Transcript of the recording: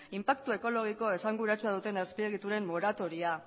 inpaktu ekologiko esanguratsua duten azpiegituren moratoria